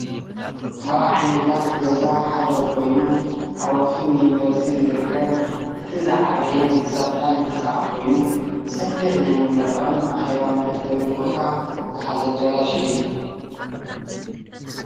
ካብ ዓይነታት ገዛ ሓደ ኮይኑ ኣብ ኣክሱም ዩኒቨርስቲ ዝርከብ እቲ ዝዓበየን ዝሰፍሐን ህንፃ ኮይኑ ሰፊሕ ናይ መመረቅን ኣኬባ መአከብን ቦታ ዝሓዘ ኣዳራሽ እዩ፡፡